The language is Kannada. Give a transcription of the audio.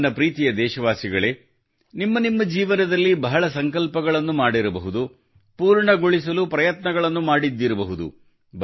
ನನ್ನ ಪ್ರೀತಿಯ ದೇಶವಾಸಿಗಳೇ ನಿಮ್ಮ ನಿಮ್ಮ ಜೀವನದಲ್ಲಿ ಬಹಳ ಸಂಕಲ್ಪಗಳನ್ನು ಮಾಡಿರಬಹುದು ಪೂರ್ಣಗೊಳಿಸಲು ಪ್ರಯತ್ನಗಳನ್ನು ಮಾಡಿದ್ದಿರಬಹುದು